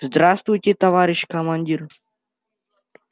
здравствуйте товарищ командир